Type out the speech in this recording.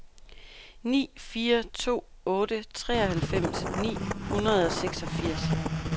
ni fire to otte treoghalvfems ni hundrede og seksogfirs